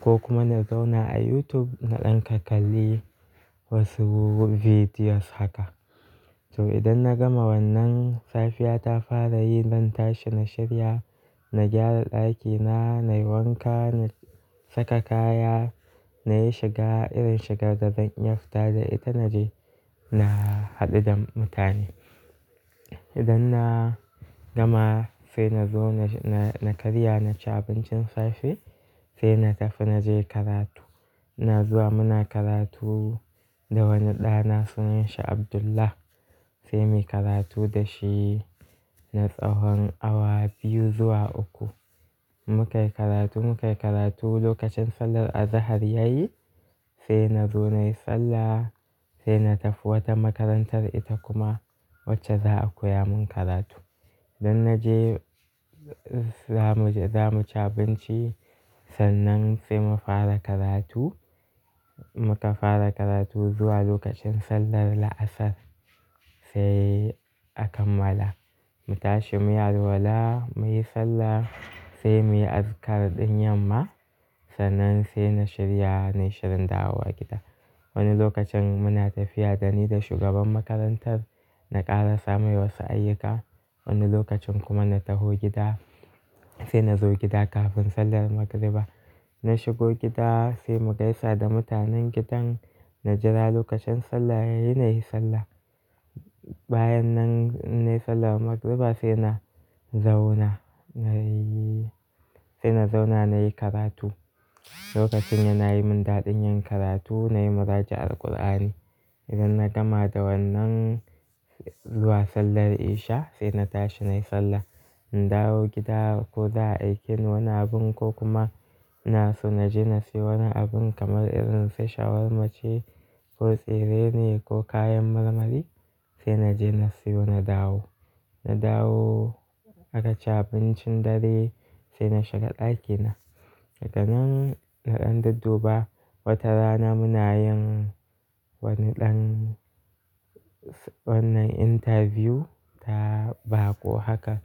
ko kuma na zauna a YouTube na ɗan kakkalli. Wasu videos haka. To idan na gama wannan safiya ta fara yi zan tashi na shirya, na gyara ɗakina nayi wanka na saka kaya nayi shiga irin shigar da zan iya fita da ita naje na haɗu da mutane. Idan na gama sai na zo na, na karya naci abincin safe sai na tafi naje karatu. Ina zuwa muna karatu da wani ɗana sunan shi Abdullah sai muyi karatu da shi na tsawon awa biyu zuwa uku. Mukai karatu, mukai karatu lokacin sallar azahar yayi sai na zo nayi sallah sai na tafi wata makarantar ita kuma wacce za a koya mun karatu. Idan naje zamu, zamu ci abinci sannan sai mu fara karatu. Muka fara karatu zuwa lokacin sallar la'asar sai akammala. Mu tashi muyi alwala muyi sallah sai muyi azkar ɗin yamma sannan sai na shirya nayi shirin dawo gida. Wani lokacin muna tafiya dani da shugaban makarantar na ƙara sa mai wasu ayyuka. Wani lokacin kuma na taho gida sai nazo gida kafin sallar magriba. Na shigo gida sai mu gaisa da mutanen gidan na jira lokacin sallah yayi nayi sallah. Bayan nan nayi sallar magriba sai na zauna nayi, sai na zauna nayi karatu. Lokacin yana yi mun daɗin yin karatu nayi muraja'ar Alkur'ani. Idan na gama da wannan zuwa sallar isha sai na tashi nayi sallah. In dawo gida ko za a aikini wani abun ko kuma ina so naje nasiyo wani abun kamar irin su shawarma ce ko tsire ne ko kayan marmari sai naje nasiyo na dawo. Na dawo aka ci abincin dare sai na shiga ɗakina. Daga nan na ɗan dudduba wata rana muna yin wani ɗan wannan interview ta baƙo haka